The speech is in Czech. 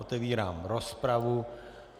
Otevírám rozpravu.